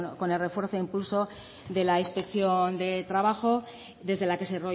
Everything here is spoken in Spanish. con el refuerzo e impulso de la inspección de trabajo desde la que se